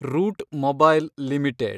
root Mobile limited